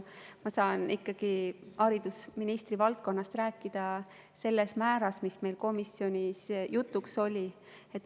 Ma saan ikkagi haridusministri valdkonnast rääkida selles määras, nagu meil komisjonis jutuks oli.